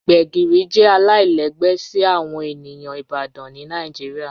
Gbegiri jẹ alailẹgbẹ si awọn eniyan Ibadan ni Nigeria